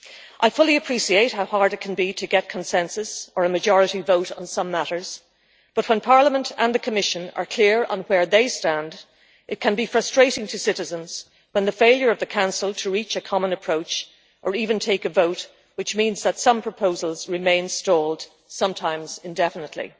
I fully appreciate how hard it can be to get consensus or a majority vote on some matters, but when Parliament and the Commission are clear on where they stand, it can be frustrating to citizens when the failure of the Council to reach a common approach, or even take a vote, means that some proposals remain stalled, sometimes indefinitely.